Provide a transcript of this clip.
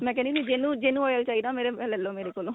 ਮੈ ਕਹਿ ਹੁੰਨੀ ਆ ਵੀ ਜਿਹਨੂੰ ਜਿਹਨੂੰ oil ਚਾਹੀਦਾ ਮੇਰੇ ah ਲੈਲੋ ਮੇਰੇ ਕੋਲੋ